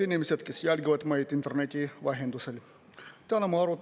Head inimesed, kes jälgivad meid interneti vahendusel!